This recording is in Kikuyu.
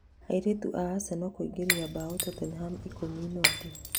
Airĩtu aa Arsenal kuingĩria mbaũ Tottenham ikũmi noti